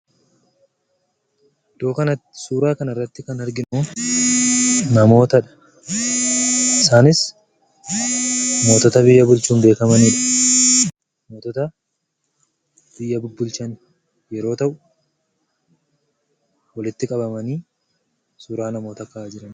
Iddoo kanatti suuraa kanarratti kan arginu namootadha. Isaanis mootota biyya bulchuun beekamanidha. Mootota biyya bulchan yoo ta'u, walitti qabamanii suuraa namoota ka'aa jiranidha.